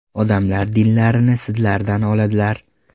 Odamlar dinlarini sizlardan oladilar.